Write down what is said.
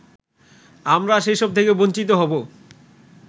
আমরা সেসব থেকে বঞ্চিত হব